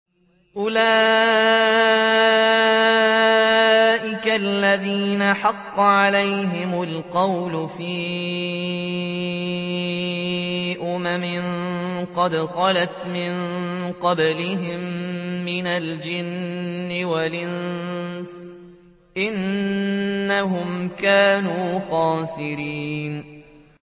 أُولَٰئِكَ الَّذِينَ حَقَّ عَلَيْهِمُ الْقَوْلُ فِي أُمَمٍ قَدْ خَلَتْ مِن قَبْلِهِم مِّنَ الْجِنِّ وَالْإِنسِ ۖ إِنَّهُمْ كَانُوا خَاسِرِينَ